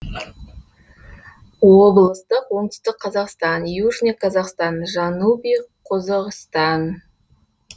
облыстық оңтүстік қазақстан южный казахстан жанубий қозоғистан